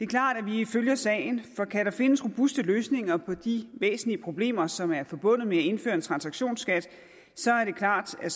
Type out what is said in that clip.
klart at vi følger sagen for kan der findes robuste løsninger på de væsentlige problemer som er forbundet med at indføre en transaktionsskat så er det klart at